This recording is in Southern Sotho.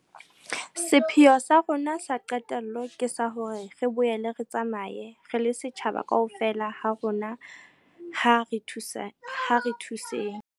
Sepheo sa rona sa qetello ke sa hore re boele re tsamaye. Re le setjhaba, kaofela ha rona ha re thuseng.